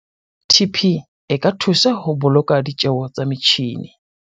TP e ka thusa ho boloka ditjeo tsa metjhine.